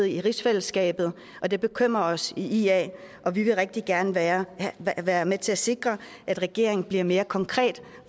i rigsfællesskabet og det bekymrer os i ia og vi vil rigtig gerne være være med til at sikre at regeringen bliver mere konkret